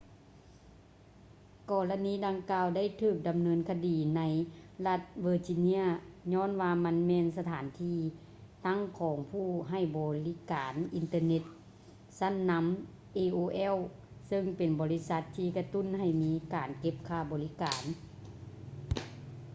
ກໍລະນີດັ່ງກ່າວໄດ້ຖືກດຳເນີນຄະດີໃນລັດ virginia ຍ້ອນວ່າມັນແມ່ນສະຖານທີ່ຕັ້ງຂອງຜູ້ໃຫ້ບໍລິການອິນເຕີເນັດຊັ້ນນຳ aol ເຊິ່ງເປັນບໍລິສັດທີ່ກະຕຸ້ນໃຫ້ມີການເກັບຄ່າບໍລິການ